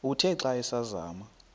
uthe xa asazama